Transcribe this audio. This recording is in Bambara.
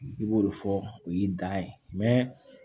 I b'o de fɔ o ye dan ye